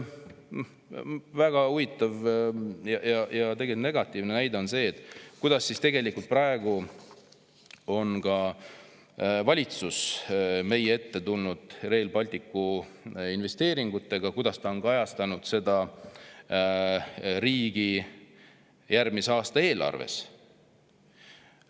Väga huvitav ja tegelikult negatiivne näide on see, kuidas praegu on valitsus meie ette tulnud Rail Balticu investeeringutega, kuidas ta on kajastanud neid riigi järgmise aasta eelarves.